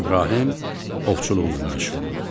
İbrahim ovçuluqla məşğul oldu.